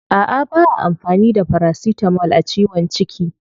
A'a ba'a amfani da paracetamol a ciwon ciki.